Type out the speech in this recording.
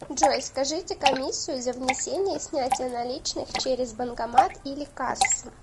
джой скажите комиссию за внесение и снятие наличных через банкомат или кассу